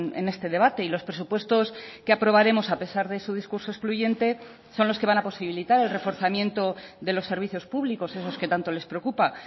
en este debate y los presupuestos que aprobaremos a pesar de su discurso excluyente son los que van a posibilitar el reforzamiento de los servicios públicos esos que tanto les preocupa